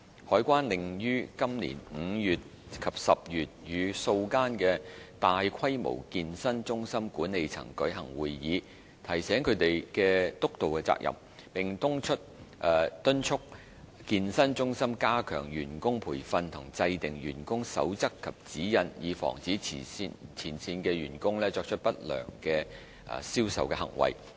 海關另於今年5月及10月與數間大規模健身中心管理層舉行會議，提醒他們的督導責任，並敦促健身中心加強員工培訓和制訂員工守則及指引，以防止前線員工作出不良銷售行為。